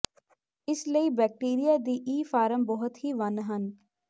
ਇਸ ਲਈ ਬੈਕਟੀਰੀਆ ਦੀ ਈ ਫਾਰਮ ਬਹੁਤ ਹੀ ਵੰਨ ਹਨ